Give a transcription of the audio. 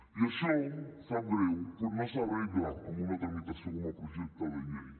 i això sap greu però no s’arregla amb una tramitació com a projecte de llei